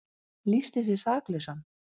Lýsti sig saklausan